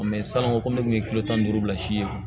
sann'o ko ne kun ye kile tan ni duuru bila si ye